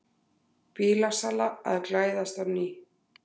Bílasala að glæðast á ný